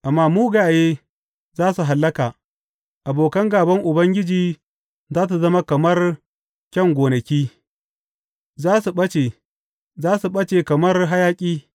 Amma mugaye za su hallaka, Abokan gāban Ubangiji za su zama kamar kyan gonaki, za su ɓace, za su ɓace kamar hayaƙi.